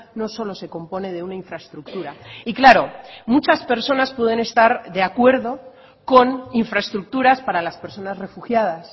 no solo se compone de una infraestructura y claro muchas personas pueden estar de acuerdo con infraestructuras para las personas refugiadas